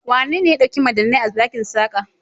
Wanene ya ɗauki madannai a ɗakin Saka?